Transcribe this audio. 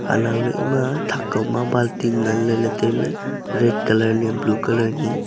anow ley ema thak kow ma balting ngan ley ley tai ley red colour ya blue colour ni.